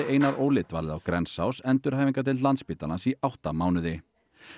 Einar Óli dvalið á Grensás endurhæfingardeild Landspítalans í átta mánuði